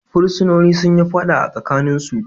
Fursunonin sun yi fada a tsakaninsu.